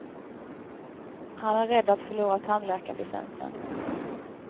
Han är rädd att förlora tandläkarlicensen.